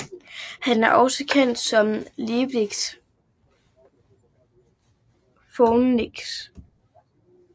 Han er også kendt som Leaf Phoenix